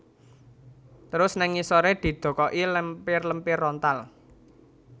Terus nèng ngisoré didokoki lempir lempir rontal